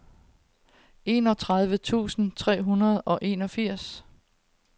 enogtredive tusind tre hundrede og enogfirs